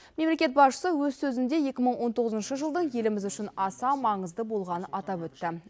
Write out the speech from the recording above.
мемлекет басшысы өз сөзінде екі мың он тоғызыншы жылдың еліміз үшін аса маңызды болғанын атап өтті